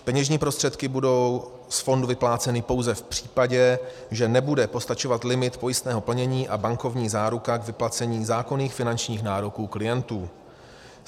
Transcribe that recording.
Peněžní prostředky budou z fondu vypláceny pouze v případě, že nebude postačovat limit pojistného plnění a bankovní záruka k vyplacení zákonných finančních nároků klientů.